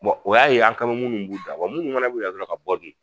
o y'a ye an kan mɛ munnu b'u da, wa munnu fɛnɛ bi kɛ dɔrɔ ka bɔ dun?